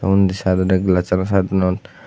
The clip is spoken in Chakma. undi siteoidi glash site anot